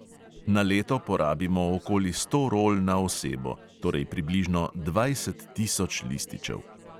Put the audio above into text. Na leto porabimo okoli sto rol na osebo, torej približno dvajset tisoč lističev.